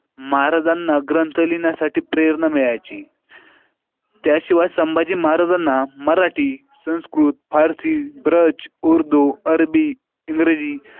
महाराजांना ग्रंथ लिहिण्यासाठी प्रेरणा मिळायची त्याशिवाय संभाजी महाराजांना मराठी, संस्कृत, पारसी, ब्रज, उर्दू, अरबी, इंग्रजी.